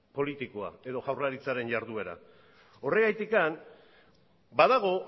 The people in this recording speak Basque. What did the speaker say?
politikoa eta jaurlaritzaren jarduera horregatik badago